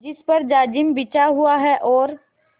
जिस पर जाजिम बिछा हुआ है और